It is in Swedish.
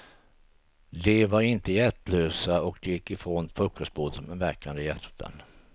De var inte hjärtlösa, och de gick ifrån frukostbordet med värkande hjärtan.